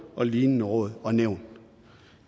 og lignende råd og nævn